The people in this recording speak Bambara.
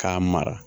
K'a mara